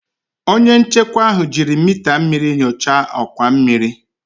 Onye nchekwa ahụ jiri mita mmiri nyochaa ọkwa mmiri